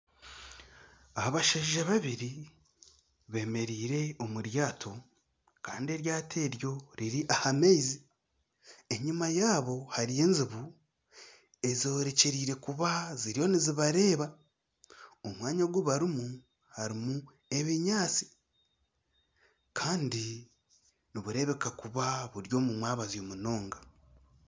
Abashaija babiri beemereire omu ryato kandi eryato eryo riri aha maizi, enyima yaabo hariyo enjubu eziriyo nizibareeba omwanya ogu barimu harimu ebinyaatsi kandi nibureebeka kuba buri omu mwabazyo munonga